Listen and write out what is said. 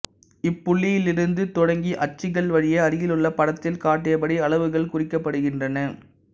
இப்புள்ளியிலிருந்து தொடங்கி அச்சுக்கள் வழியே அருகிலுள்ள படத்தில் காட்டியபடி அளவுகள் குறிக்கப்படுகின்றன